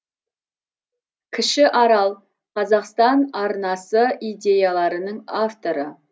кіші арал қазақстан арнасы идеяларының авторы